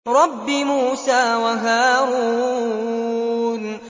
رَبِّ مُوسَىٰ وَهَارُونَ